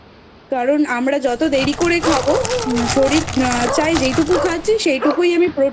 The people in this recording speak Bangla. কারণ আমরা যত দেরি করে খাবো শরীর চাই যেইটুকু খাচ্ছি সেইটুকুই আমি